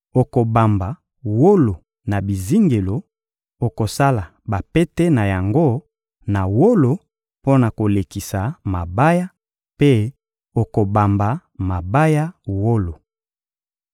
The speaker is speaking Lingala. Okobamba wolo na bizingelo, okosala bapete na yango na wolo mpo na kolekisa mabaya; mpe okobamba mabaya wolo.